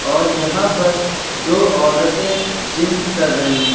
और यहां पर दो औरतें जिम कर रही हैं।